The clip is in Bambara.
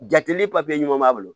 Jateminɛ papiye ɲuman b'a bolo